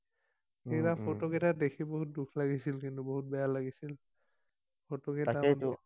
সেইকেইটা ফটো কেইটা দেখি বহুত দুখ লাগিছিল কিন্তু, বহুত বেয়া লাগিছিল।